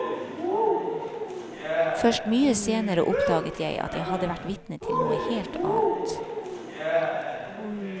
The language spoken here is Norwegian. Først mye senere oppdaget jeg at jeg hadde vært vitne til noe helt annet.